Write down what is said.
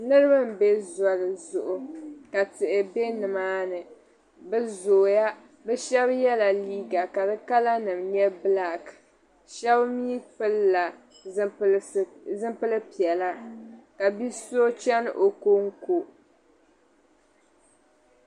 Niriba m-be zoli zuɣu ka tihi be nimaani bɛ zooya bɛ shɛba yɛla liiga ka di kalanima nyɛ bilaaki shɛba mi pilila zipil' piɛla ka bi' so chani o kɔŋko.